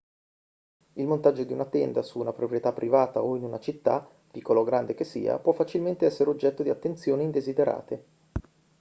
il montaggio di una tenda su una proprietà privata o in una città piccola o grande che sia può facilmente essere oggetto di attenzioni indesiderate